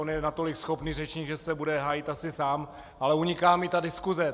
On je natolik schopný řečník, že se bude hájit asi sám, ale uniká mi ta diskuse.